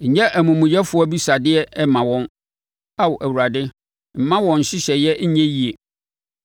nyɛ amumuyɛfoɔ abisadeɛ mma wɔn, Ao Awurade; mma wɔn nhyehyɛeɛ nyɛ yie.